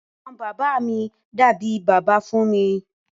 Ẹgbọn bàbá mi dàbí bàbá fún mi.